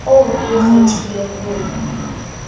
oo o o kgethileng ho